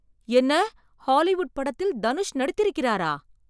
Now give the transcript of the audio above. என்ன! ஹாலிவுட் படத்தில் தனுஷ் நடித்திருக்கிறாரா?